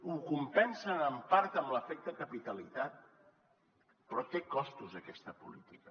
ho compensen en part amb l’efecte capitalitat però té costos aquesta política